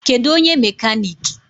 Kedụ onye mekanik?